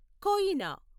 Koyna